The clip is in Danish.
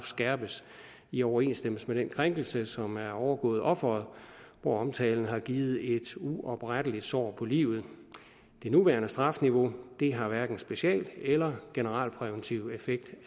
skærpes i overensstemmelse med den krænkelse som er overgået offeret hvor omtalen har givet et uopretteligt sår på livet det nuværende strafniveau har hverken special eller generalpræventiv effekt